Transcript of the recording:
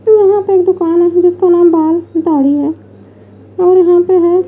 यहाँ पे एक दुकान है जिसका नाम बाल साड़ी है और यहाँ पे है --